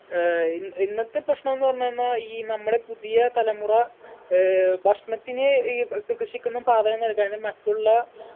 ഏർ ഇൻ ഇന്നത്തെ പ്രശ്നൊന്ന് എന്ന് വന്നോ ഈ നമ്മുടെ പുതിയ തലമുറ ഏർ ഭക്ഷണത്തിനു ഈ ക് കൃഷിക്കൊന്നും പ്രാധാന്യം നൽകാഞ്ഞ് മറ്റുള്ള